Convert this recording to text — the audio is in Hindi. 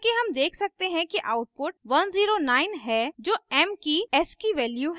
जैसा कि हम देख सकते हैं कि output 109 है जो m की ascii ascii value है